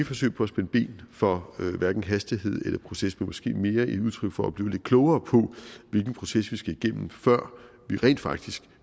forsøg på at spænde ben for hastighed eller proces men måske mere et udtryk for at blive lidt klogere på hvilken proces vi skal igennem før vi rent faktisk